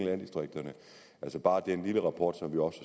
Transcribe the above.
landdistrikterne altså bare den lille rapport som vi også